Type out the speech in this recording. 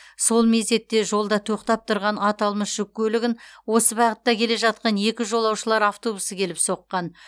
сол мезетте жолда тоқтап тұрған аталмыш жүк көлігін осы бағытта келе жатқан екі жолаушылар автобусы келіп соққан